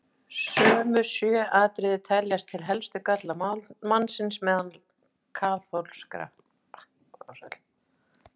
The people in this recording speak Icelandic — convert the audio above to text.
Sömu sjö atriði teljast til helstu galla mannsins meðal kaþólskra.